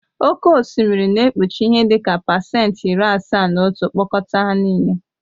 Oke osimiri na-ekpuchi ihe dị ka pasentị iri asaa na otu mkpọkọta ya nịle.